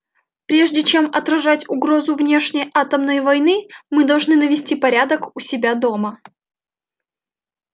прежде чем отражать угрозу внешней атомной войны мы должны навести порядок у себя дома